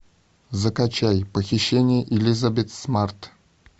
закачай похищение элизабет смарт